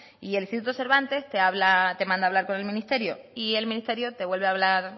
y el instituto cervantes te habla te manda a hablar con el ministerio y el ministerio te vuelve a hablar